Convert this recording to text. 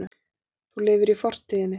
Þú lifir í fortíðinni.